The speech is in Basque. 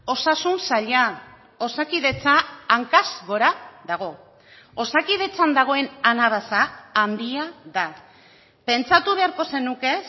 osasun saila osakidetza hankaz gora dago osakidetzan dagoen anabasa handia da pentsatu beharko zenuke